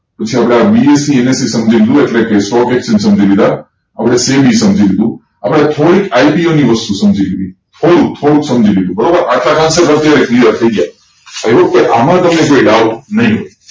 પછી આપણે આ BSENSE સમજાય ગયું એટલે કે stock exchange સમજી લીધા આપડે SEBI સમજી લીધું આપડે થોડીક IPO ની વસ્તુ સમજી લીધી થોડુંક સમજી લીધું બરોબર એટલા કોન્સપ્ત અત્યારે clear થયી ગયા i hope કે અલ્મા કોઈને કોઈ doubt નહિ